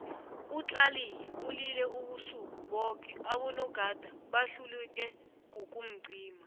utlaliyi ulile ubusuku boke abo nogada bahluleke kukumcima